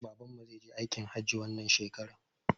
Babanmu zai je aikin hajji wannan shekarar